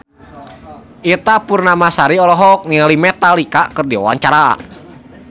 Ita Purnamasari olohok ningali Metallica keur diwawancara